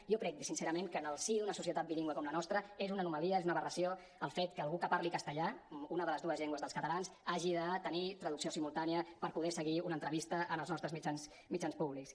jo crec sincerament que en el si d’una societat bilingüe com la nostra és una anomalia és una aberració el fet que algú que parli castellà una de les dues llengües dels catalans hagi de tenir traducció simultània per poder seguir una entrevista en els nostres mitjans públics